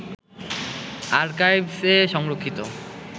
আরকাইভস্-এ সংরক্ষিত